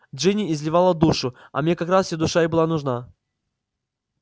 джинни изливала душу а мне как раз её душа и была нужна